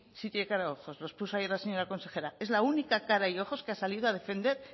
sí tiene cara y ojos lo expuso ayer la señora consejera es la única cara y ojos que ha salido a defender